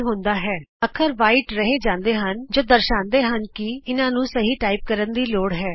ਕੀ ਹੁੰਦਾ ਹੈ ਅੱਖਰ ਚਿੱਟੇ ਰਹਿ ਜਾਂਦੇ ਹਨ ਜਿਹੜੇ ਦਰਸਾਂਦੇ ਹਨ ਕਿ ਤੁਹਾਨੂੰ ਇਹਨਾਂ ਨੂੰ ਸਹੀ ਟਾਈਪ ਕਰਨ ਦੀ ਲੋੜ ਹੈ